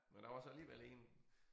Men der var så alligevel én